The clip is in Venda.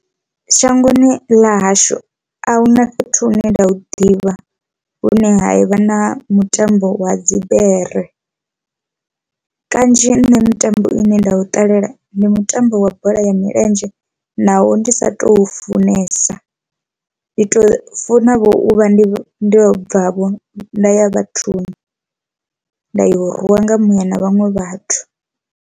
Shangoni ḽa hashu ahuna fhethu hune nda hu ḓivha hune ha vha na mutambo wa dzi bere kanzhi nṋe mitambo ine nda u ṱalela ndi mutambo wa bola ya milenzhe naho ndi sa tou funesa, ndi tou funa u vha ndi ndo bva vho nda ya vhathuni nda yo rwiwa nga muya na vhaṅwe vhathu.